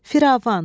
Firavan.